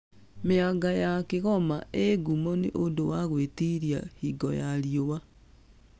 Mĩanga ya kĩgoma ĩ ngumo nĩ ũndũ wa gwĩtiria hingo ya riũa